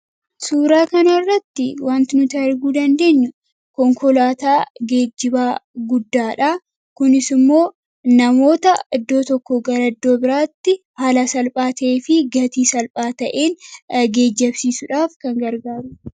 Suuraa kanarratti wanti nuti arguu dandeenyu konkolaataa geejjibaa guddaadha. Kunis immoo namoota iddoo tokkoo gara iddoo biraatti haala salphaa ta'ee fi gatii salphaa ta'een geejjibsiisuudhaaf kan gargaaranidha.